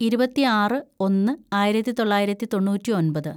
ഇരുപത്തിയാറ് ഒന്ന് ആയിരത്തിതൊള്ളായിരത്തി തൊണ്ണൂറ്റിയൊമ്പത്‌